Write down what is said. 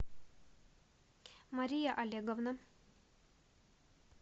мария олеговна